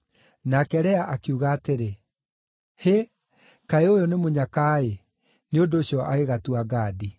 Nake Lea akiuga atĩrĩ, “Hĩ, kaĩ ũyũ nĩ mũnyaka-ĩ!” Nĩ ũndũ ũcio agĩgatua Gadi.